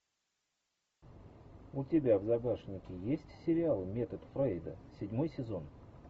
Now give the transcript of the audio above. у тебя в загашнике есть сериал метод фрейда седьмой сезон